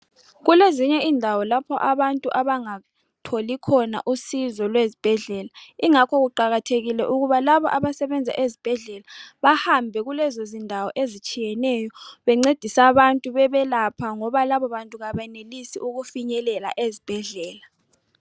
Kulezinye indawo lapho abantu abangatholi khona usizo lwezibhedlela ikungakho kuqakathekile ukuthi labo abasebenza ezibhedlela bahambe kulezi zindawo ezitshiyeneyo bencedisa abantu bebelapha ngoba labo bantu abayenelisi ukufinyelela ezibhedlela.